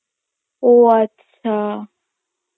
ও আচ্ছা